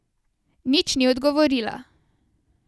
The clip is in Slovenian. Nič ni odgovorila.